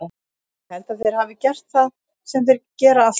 Ég held að þeir hafi gert það sem þeir gera alltaf.